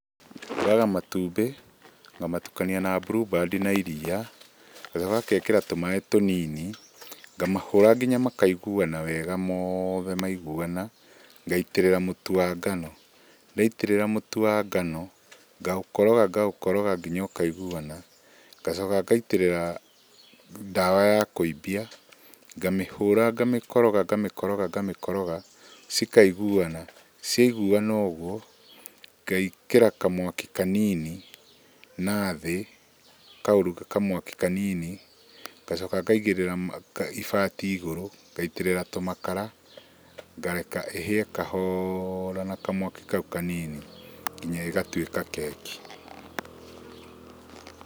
Ũraga matumbĩ, ngamatukania na blueband na iria, ngacoka ngekĩra tũmaĩ tũnini, ngamahũra nginya makaiguana wega mothe, maiguana, ngaitĩrĩra mũtu wa ngano. Ndaitĩrĩra mũtu wa ngano, ngaũkoroga ngaũkoroga nginya ũkaiguana, ngacoka ngaitĩrĩra dawa ya kũimbia, ngamĩhũra ngamĩkoroga ngamĩkoroga ngamĩkoroga, cikaiguana. Ciaiguana ũguo, ngekĩra kamwaki kanini nathĩ, ngacoka ngaigĩrĩra ibati igũru, ngaitĩrĩra tũmakara, ngareka ĩhĩe kahora na kamwaki kaũ kanini nginya ĩgatũĩka keki.